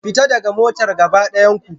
Fita daga motar gaba daya ku